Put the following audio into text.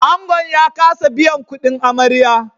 Angon ya kasa biyan kudin amarya